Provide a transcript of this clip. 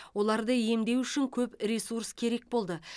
оларды емдеу үшін көп ресурс керек болды